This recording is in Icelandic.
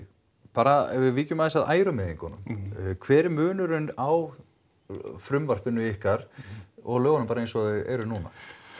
bara ef við víkjum aðeins að ærumeiðingunum hver er munurinn á frumvarpinu ykkar og lögunum bara eins og þau eru núna